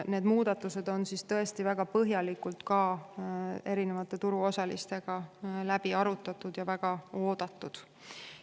Muudatused on tõesti väga põhjalikult turuosalistega läbi arutatud ja need on väga oodatud.